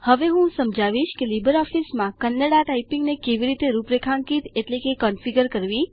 હવે હું સમજાવીશ કે લીબર ઓફીસમાં કન્નડા ટાયપીંગને કેવી રીતે રૂપરેખાંકિત એટલે કે કોન્ફીગર કરવી